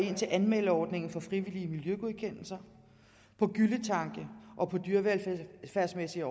ind til anmeldeordningen for frivillige miljøgodkendelser på gylletanke og dyrevelfærdsmæssige